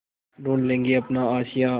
ढूँढ लेंगे अपना आशियाँ